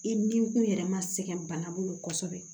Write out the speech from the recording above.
I ni kun yɛrɛ ma sɛgɛn bana bolo kosɛbɛ